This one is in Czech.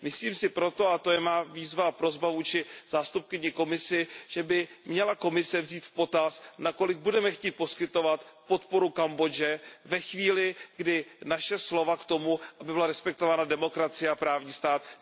Myslím si proto, a to je má výzva a prosba vůči zástupkyni Komise, že by měla Komise vzít v potaz, na kolik budeme chtít poskytovat podporu Kambodži ve chvíli, kdy naše slova k tomu, aby byla respektována demokracie a právní stát, nejsou brána v potaz.